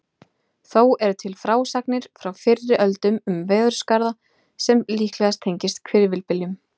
Þó eru til frásagnir frá fyrri öldum um veðurskaða sem líklega tengist hvirfilbyljum.